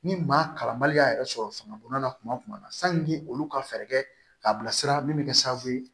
Ni maa kalanbaliya yɛrɛ sɔrɔ fanga bɔnna kuma na sanni olu ka fɛɛrɛ kɛ k'a bila sira min bɛ kɛ sababu ye